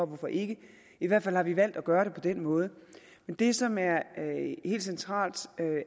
hvorfor ikke i hvert fald har vi valgt at gøre det på den måde men det som er helt centralt